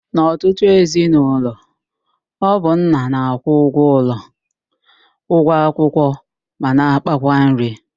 N'ọtụtụ ezinaụlọ, ọ bụ nna na-akwụ ụgwọ ụlọ, ụgwọ akwụkwọ ma na ákpákwa nri